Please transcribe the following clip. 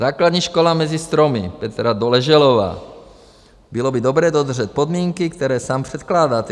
Základní škola Mezi stromy, Petra Doleželová: Bylo by dobré dodržet podmínky, které sám předkládáte.